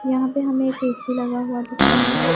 यहां पे हमें एक ए_सी लगा हुआ दिख रहा है।